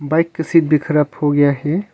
Bike का seat भी खराब हो गया है।